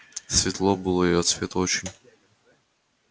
светло было и от света очень